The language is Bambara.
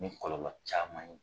Ni kɔlɔlɔ caman ye.